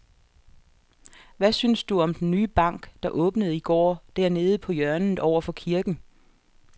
Hvad synes du om den nye bank, der åbnede i går dernede på hjørnet over for kirken?